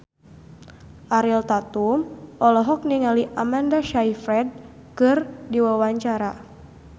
Ariel Tatum olohok ningali Amanda Sayfried keur diwawancara